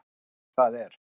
Jú það er